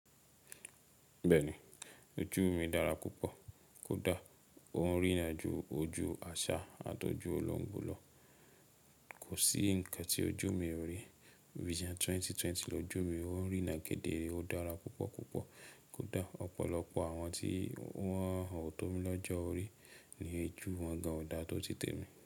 Bẹ́ẹ̀ni, ojú mi dára púpọ̀. Kódà ó ń rí ran ju ojú àṣà àtọ́jú olóńgbò lọ. Kò sí nǹkan tí ojú mi ò rí. Vision 2020 lọju mi ó ń rí ran gidi, ó dára púpọ̀ púpọ̀. Kódà ọ̀pọ̀lọpọ̀ àwọn tí wọ́n ò tó mi lọ́jọ́ ó rí ní ejù wọ́n gan ò dáa tó ti tèmi.